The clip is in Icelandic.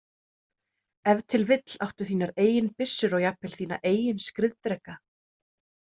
Ef til vill áttu þínar eigin byssur og jafnvel þína eigin skriðdreka.